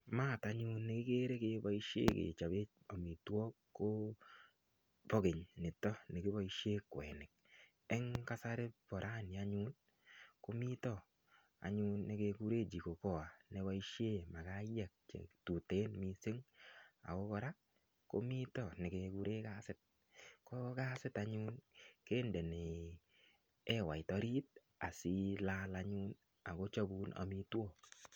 Mat anyun ne kigere keboisien kechobe amitwogik kobo keny nito nekiboisien kwenik. En kasari ko rani anyun komito anyun ne keguren jiko poa neboisien makaayek che tuten mising ago kora komito nekekuren kasit. Ko kasit anyun kindeni ewait orit asilal anyun ak kochobun amitwogik.